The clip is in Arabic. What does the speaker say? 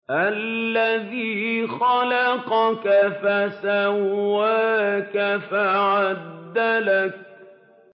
الَّذِي خَلَقَكَ فَسَوَّاكَ فَعَدَلَكَ